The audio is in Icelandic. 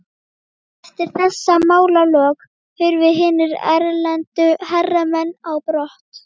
Eftir þessi málalok hurfu hinir erlendu hermenn á brott.